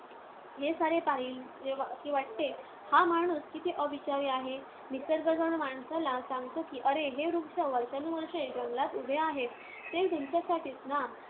हे सारे पाहिले की वाटते, हा माणूस किती अविचारी आहे! निसर्ग जणू माणसाला सांगतो की, रे हे वृक्ष वर्षानुवर्षे जंगलात उभे आहेत. ते तुमच्यासाठीच ना!